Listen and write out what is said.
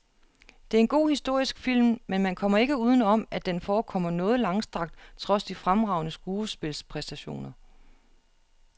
Det er en god historisk film, men man kommer ikke uden om, at den forekommer noget langstrakt trods de fremragende skuspilpræstationer.